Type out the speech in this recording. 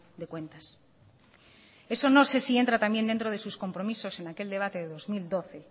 de cuentas eso no sé si entra también dentro de sus compromisos en aquel debate del dos mil doce